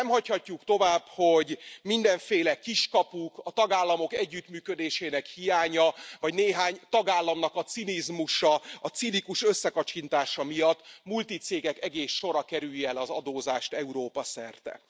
Nem hagyhatjuk tovább, hogy mindenféle kiskapuk, a tagállamok együttműködésének hiánya vagy néhány tagállam cinizmusa, cinikus összekacsintása miatt multicégek egész sora kerülje el az adózást Európa szerte.